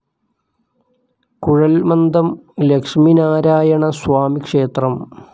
കുഴൽമന്ദം ലക്ഷ്മിനാരായണ സ്വാമി ക്ഷേത്രം